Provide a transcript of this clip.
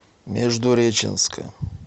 междуреченска